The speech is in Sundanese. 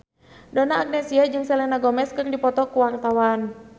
Donna Agnesia jeung Selena Gomez keur dipoto ku wartawan